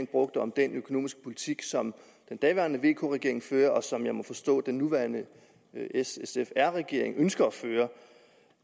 brugte om den økonomiske politik som den daværende vk regering førte og som jeg må forstå at den nuværende s sf r regering ønsker at føre